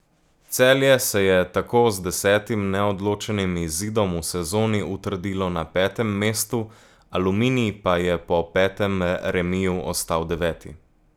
Celje se je tako z desetim neodločenim izidom v sezoni utrdilo na petem mestu, Aluminij pa je po petem remiju ostal deveti.